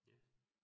Ja